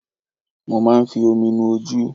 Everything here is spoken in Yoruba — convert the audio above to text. Mo máa ń fi omi nu ojú.